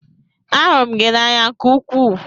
Ahụrụ m gị n'anya nke ukwuu.